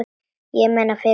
Ég meina, fyrir þig.